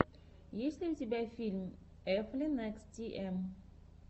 есть ли у тебя фильм эфлин экс ти эм